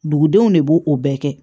Dugudenw de b'o o bɛɛ kɛ